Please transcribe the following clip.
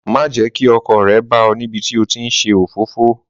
Má jẹ́ kí ọkọ rẹ bá ọ níbití o ti nṣe òfófó.